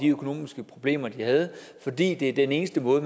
økonomiske problemer de havde fordi det er den eneste måde